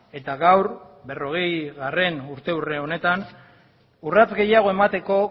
eta gaur berrogeigarren urteurren honetan urrats gehiago emateko